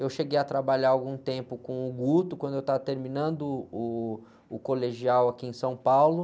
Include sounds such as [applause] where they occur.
Eu cheguei a trabalhar algum tempo com o, [unintelligible] quando eu estava terminando o colegial aqui em São Paulo.